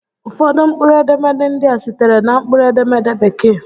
Ụfọdụ mkpụrụ edemede ndị a sitere na mkpụrụ edemede Bekee